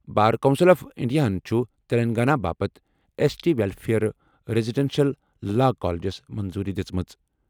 بار council of انڈیاہَن چھُ تلنگانہ باپتھ S T welfare residential law colleges منظوٗری دِژمٕژ۔